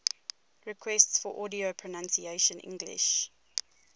requests for audio pronunciation english